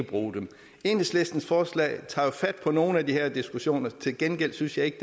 bruge dem enhedslistens forslag tager jo fat på nogle af de her diskussioner til gengæld synes jeg ikke